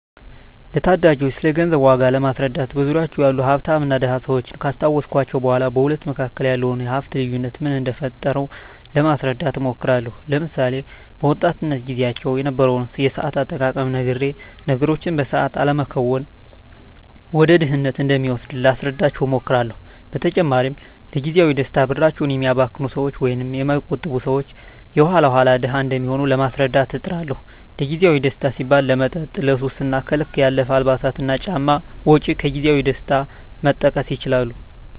ለታዳጊወች ስለገንዘብ ዋጋ ለማስረዳት በዙሪያችን ያሉ ሀፍታምና ድሀ ሰወችን ካስታወስኳቸው በኋ በሁለቱ መካከል ያለውን የሀፍት ልዮነት ምን እደፈጠረው ለማስረዳት እሞክራለሁ። ለምሳሌ፦ በወጣትነት ግዚያቸው የነበረውን የሰአት አጠቃቀም ነግሬ ነገሮችን በሰአት አለመከወን ወደ ድህነት እንደሚወስድ ላስረዳቸው እሞክራለው። በተጨማሪም ለግዚያዊ ደስታ ብራቸውን የሚያባክኑ ሰወች ወይም የማይቆጥቡ ሰወች የኋላ ኋላ ድሀ እንደሚሆኑ ለማስረዳት እጥራለሁ። ለግዜአዊ ደስታ ሲባል ለመጠጥ፣ ለሱስ እና ከልክ ያለፈ የአልባሳትና ጫማ ወጭ ከግዜያዊ ደስታ መጠቀስ ይችላሉ።